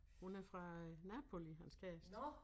Hun er fra øh Napoli hans kæreste